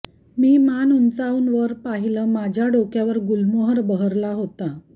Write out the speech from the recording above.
मी मान उंचावून वर पाहिलं माझ्या डोक्यावर गुलमोहर बहरला होता